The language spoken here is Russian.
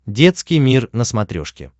детский мир на смотрешке